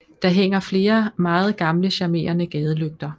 Der hænger flere meget gamle charmerende gadelygter